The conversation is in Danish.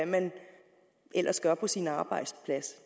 men ja